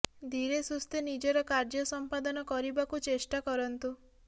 ଧୀରେ ସୁସ୍ଥେ ନିଜର କାର୍ଯ୍ୟ ସମ୍ପାଦନ କରିବାକୁ ଚେଷ୍ଟା କରନ୍ତୁ